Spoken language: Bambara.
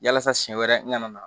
Yasa siɲɛ wɛrɛ n kana na